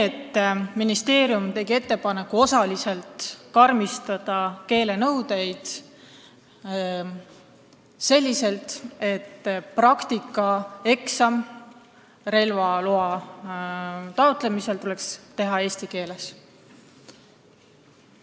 Ministeerium oli teinud ettepaneku osaliselt karmistada keelenõudeid, nii et praktikaeksam relvaloa taotlemisel tuleks teha eesti keeles.